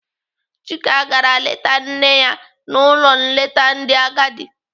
Chika gara leta nne ya n'ụlọ nleta ndị agadi.